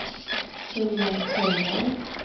Helen Sjöholm